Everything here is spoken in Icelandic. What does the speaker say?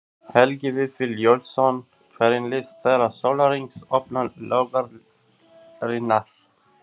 Helgi Vífill Júlíusson: Hvernig líst þér á sólarhrings opnun laugarinnar?